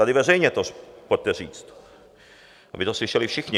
Tady veřejně to pojďte říct, aby to slyšeli všichni.